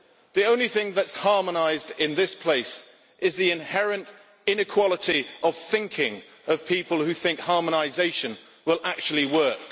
The only thing that is harmonised in this place is the inherent inequality of thinking of people who think harmonisation will actually work.